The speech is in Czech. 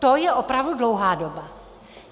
To je opravdu dlouhá doba.